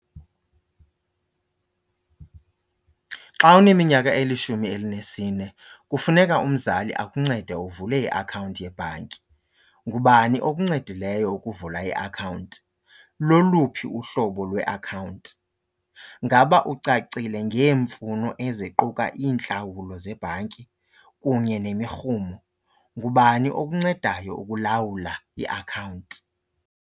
Xa uneminyaka elishumi elinesine kufuneka umzali akuncede uvule iakhawunti yebhanki. Ngubani okuncedileyo ukuvula iakhawunti? Loluphi uhlobo lweakhawunti? Ngaba ucacile ngeemfuno eziquka iintlawulo zebhanki kunye nemirhumo? Ngubani okuncedayo ukulawula iakhawunti?